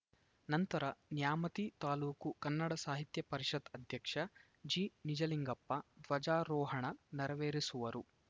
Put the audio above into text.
ನಂತರ ನ್ಯಾಮತಿ ತಾಲೂಕು ಕನ್ನಡ ಸಾಹಿತ್ಯ ಪರಿಷತ್‌ ಅಧ್ಯಕ್ಷ ಜಿನಿಜಲಿಂಗಪ್ಪ ಧ್ವಜಾರೋಹಣ ನೆರವೇರಿಸುವರು